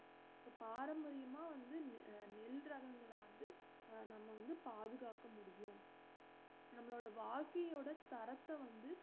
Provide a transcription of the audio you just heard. பாரம்பரியமா வந்து நெ~ நெல் ரகங்கள வந்து அஹ் நம்ம வந்து பாதுகாக்க முடியும் நம்மளோட வாழ்க்கையோட தரத்த வந்து